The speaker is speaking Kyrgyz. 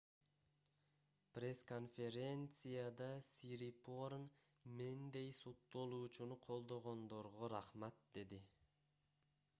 пресс-конференцияда сирипорн мендей соттолуучуну колдогондорго рахмат - деди